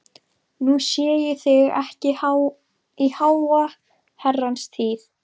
Nú sé ég þig ekki í háa herrans tíð.